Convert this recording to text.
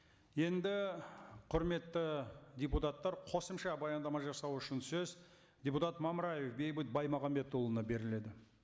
енді құрметті депутаттар қосымша баяндама жасау үшін сөз депутат мамраев бейбіт баймағамбетұлына беріледі